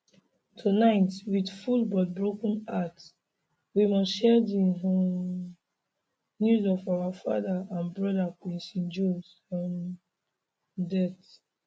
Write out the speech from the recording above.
tonight wit full but broken hearts we must share di um news of our father and brother quincy jones um death